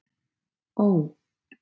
Ó